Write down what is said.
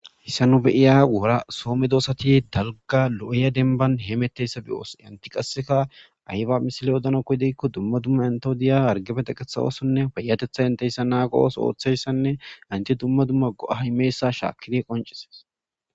Haysa nu be'iya Soho medosati dalga lo'iya demban hemetizaysa beyos enti qaseka ayba misile odanaskoyiko dumma dumma entas koshiza hargefe teqanas otho othanasine payatetha oso oithizaysa qoncisi beses